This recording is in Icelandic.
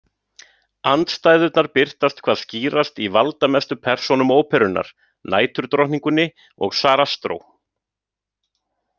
Andstæðurnar birtast hvað skýrast í valdamestu persónum óperunnar, Næturdrottningunni og Sarastró.